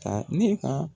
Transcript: Ta ne ka